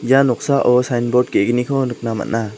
ia noksao sain bord ge·gniko nikna man·a.